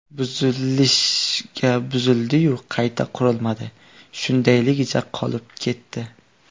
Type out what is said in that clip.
Buzilishga buzildi-yu, qayta qurilmadi, shundayligicha qolib ketdi.